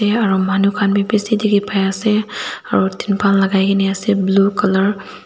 aro manu khan bi bishi dikhipaiase aro tenpal lakai na ase blue colour .